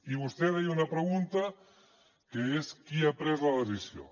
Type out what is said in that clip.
i vostè deia una pregunta que és qui ha pres la decisió